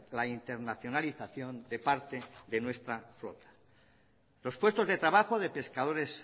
la internacionalización de parte de nuestra flota los puestos de trabajo de pescadores